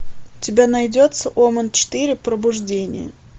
у тебя найдется омен четыре пробуждение